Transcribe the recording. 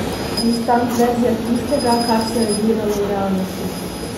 Instant verzija tistega, kar se je gledalo v realnosti.